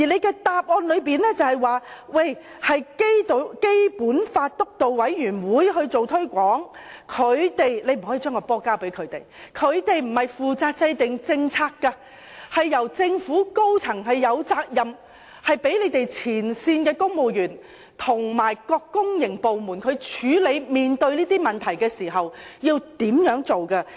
其實，當局不能夠把責任推卸給該委員會，它並非負責制定政策，而政府高層則有責任，給予指引和政策，讓前線公務員和各公營部門在面對這些問題時，知道應如何處理。